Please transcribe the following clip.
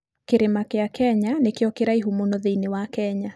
Kĩrĩma kĩa Kenya nĩkĩo kĩraihu mũno thĩinĩ wa Kenya.